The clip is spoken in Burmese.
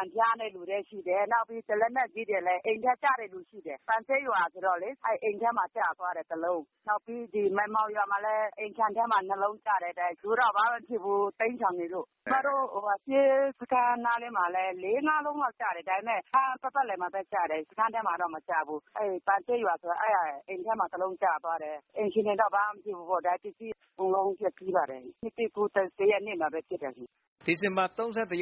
န်ဖျားတဲ့လူတွေလည်းရှိတယ်။နောက်ပြီးလက်နက်ကြီးတွေလည်း အိမ်ထဲကျတဲ့လူတွေရှိတယ်။ ပန်ဆေးရွာဆိုရင် အိမ်ထဲကျသွားတယ် ၁ လုံး။ နောက်ပြီး ဒီမိုင်မောင်ရွာမှာလည်း အိမ်ခြံထဲမှာ ၂ လုံးကျတယ်။ လူတွေတော့ဘာမှမဖြစ်ဘူးတိမ်းရှောင်နေလို့ သူတို့ စစ်ရှောင်စခန်းနားလေးမှာလည်း ၄-၅ လုံးလောက်ကျတယ် ပတ်ပတ်လည်မှာပဲကျတယ်၊ စခန်းမှာတော့ မကျဘူး။ ပန်ဆေးရွာဆိုရင် အိမ်ထဲမှာ ၁ လုံး ကျသွားတယ် အိမ်ရှင်တွေတော့ ဘာမှမဖြစ်ဘူးပေါ့နော်။ ပစ္စည်းတွေပျက်စီးသွားတယ် အဲဒါ နှစ်သစ်ကူး ၁ ရက်နေ့မှာပဲ ဖြစ်တာရှင့်။” ဒီဇင်ဘာ